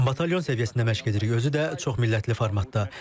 Batalyon səviyyəsində məşq edirik, özü də çoxmillətli formatda.